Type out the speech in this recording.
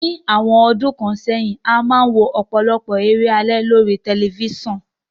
Ní àwon odún kan sẹ́hìn, a máa n wo òpòlopò eré alé lórí telifisan